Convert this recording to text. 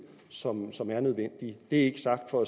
som som er nødvendige det er ikke sagt for